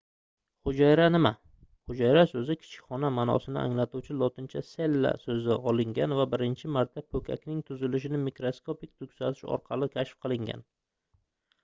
hujayra nima hujayra soʻzi kichik xona maʼnosini anglatuvchi lotincha cella soʻzidan olingan va birinchi marta poʻkakning tuzilishini mikroskopik kuzatish orqali kashf qilingan